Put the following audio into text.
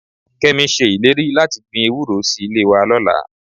Kẹ́mi ṣe ìlérí láti gbin ewúró sí ilé wa lọ́la